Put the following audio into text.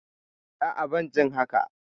A'a, ban jin haka.